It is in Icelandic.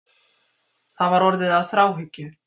Það var orðið að þráhyggju.